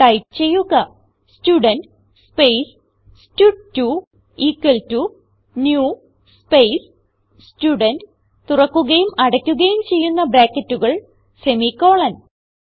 type ചെയ്യുക student space സ്റ്റഡ്2 equal to new space student തുറക്കുകയും അടയ്ക്കുകയും ചെയ്യുന്ന ബ്രാക്കറ്റുകൾ semi കോളൻ